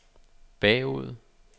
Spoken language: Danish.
bagud